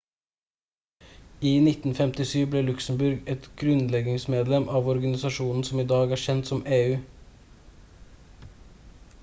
i 1957 ble luxembourg et grunnleggingsmedlem av organisasjonen som er i dag kjent som eu